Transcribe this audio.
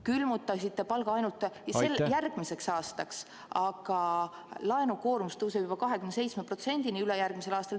... külmutasite palga ainult järgmiseks aastaks, aga laenukoormus tõuseb ülejärgmisel aastal juba 27%-ni.